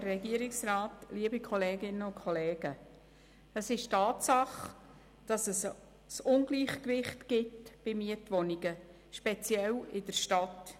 Es ist eine Tatsache, dass es bei Mietwohnungen ein Ungleichgewicht gibt, speziell in der Stadt.